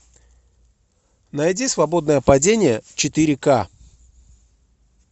найди свободное падение четыре ка